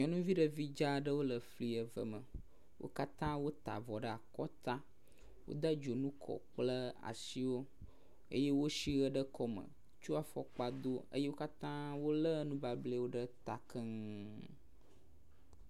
Nyɔnuvi ɖevi dzaa aɖewo le fli eve me, wo katã wo ta avɔ ɖe akɔ ta, wode dzonu kɔ kple asiwo eye wosi ɣe ɖe kɔme tsɔ fɔkpa Do eye wo katã wole nubablɛwo ɖe ta keŋŋ.